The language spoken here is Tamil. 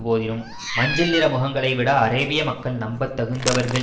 போதினும் மஞ்சள் நிற முகங்களை விட அரேபிய மக்கள் நம்பத்தகுந்தவர்கள்